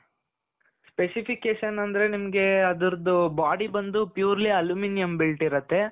Specifications ಅಂದ್ರೆ ಅದರದ್ದು body ಬಂದು purely aluminium built ಇರುತ್ತೆ.